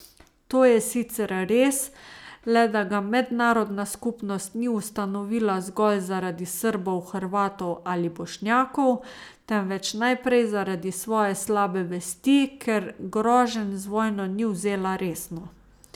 To je sicer res, le da ga mednarodna skupnost ni ustanovila zgolj zaradi Srbov, Hrvatov ali Bošnjakov, temveč najprej zaradi svoje slabe vesti, ker groženj z vojno ni vzela resno.